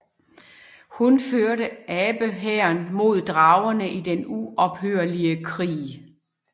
Hun førte abe hæren mod dragerne i den uophørlige krig